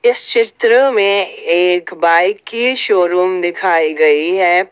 इस चित्र में एक बाइक की शोरूम दिखाई गई है।